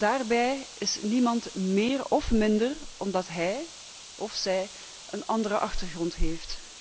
Daarbij is niemand meer of minder omdat hij of zij een andere achtergrond heeft.